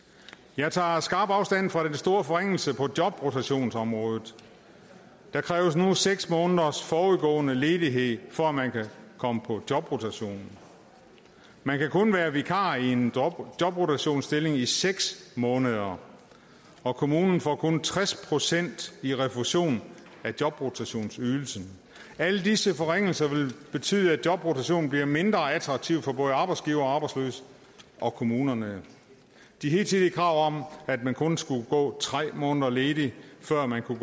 jeg tager skarp afstand fra den store forringelse på jobrotationsområdet der kræves nu seks måneders forudgående ledighed for at man kan komme i jobrotation man kan kun være vikar i en jobrotationsstilling i seks måneder og kommunen får kun tres procent i refusion af jobrotationsydelsen alle disse forringelser vil betyde at jobrotation bliver mindre attraktivt for både arbejdsgivere arbejdsløse og kommunerne de hidtidige krav om at man kun skulle gå tre måneder ledig før man kunne